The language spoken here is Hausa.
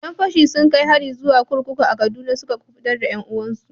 Yan fashi sun kai hari zuwa kurkuku a Kaduna suka kubutar da 'yan uwansu.